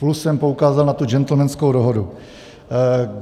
Plus jsem poukázal na tu gentlemanskou dohodu.